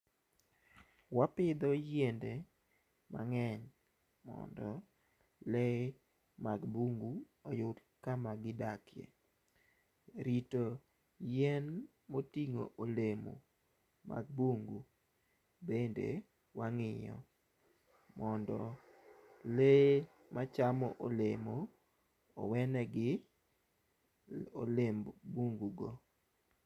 Wapidho yiende mang'eny mondo lee mag bungu oyud kama gidakie . Rito yien moting'o olemo mag bungu bende wang'iyo mondo lee machamo olemo owenegi olemb bungu go.